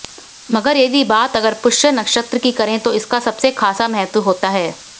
मगर यदि बात अगर पुष्य नक्षत्र की करें तो इसका सबसे खासा महत्व होता है